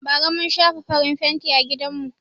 Bara mun shafa farin fenti a gidanmu.